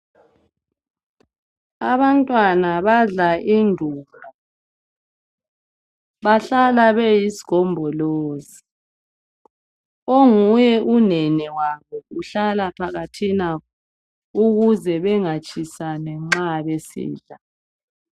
Abantwana badla indumba. Bahlala beyisigombolozi. Onguye unene wabo uhlala phakathina ukuze bangatshisani nxa besidla.